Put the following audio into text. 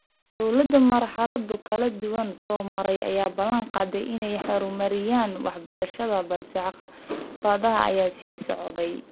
Dowlado marxalado kala duwan soo maray ayaa ballan qaaday in ay horumarinayaan waxbarashada balse caqabadaha ayaa sii socday.